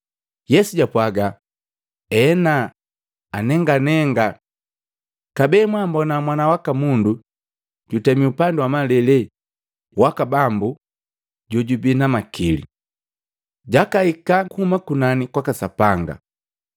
Yesu japwaaga, “Ena, anenganenga. Kabee, mwambona Mwana waka Mundu jutemi upandi wa malele waka Bambu jojubii na makili. Jakahika kuhuma kunani kwaka Sapanga.”